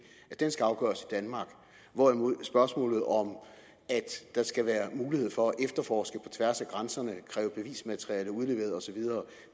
at den skal afgøres i danmark hvorimod spørgsmålet om at der skal være mulighed for at efterforske på tværs af grænserne kræve bevismateriale udleveret osv